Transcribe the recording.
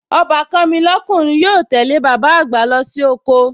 Ọbàkan mi lọ́kùnrin yóò tẹ́lẹ̀ bàbá àgbà lọ sí oko